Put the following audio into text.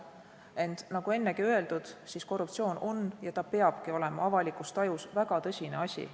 Ent nagu ennegi öeldud, korruptsioon on ja peabki olema avalikus tajus väga tõsine asi.